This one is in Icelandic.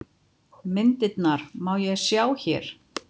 Myndirnar má sjá hér